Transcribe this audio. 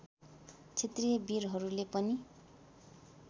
क्षेत्रिय वीरहरूले पनि